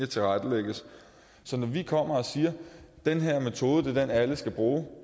tilrettelægges så når vi kommer og siger at den her metode er den alle skal bruge